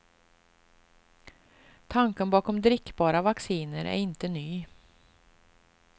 Tanken bakom drickbara vacciner är inte ny.